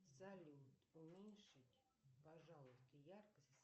салют уменьшить пожалуйста яркость